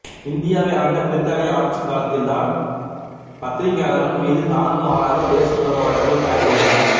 இந்தியாவை ஆண்ட பிரித்தானிய ஆட்சிக் காலத்தில்தான் பத்திரிகையாளர்கள் மீது தாறுமாறாக தேசத்துரோக வழக்குகள் பாய்ந்துள்ளன